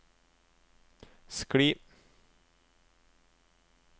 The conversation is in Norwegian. skli